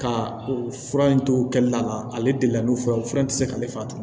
Ka fura in to kɛli la ale de la ni o fɛnw fura in tɛ se k'ale faga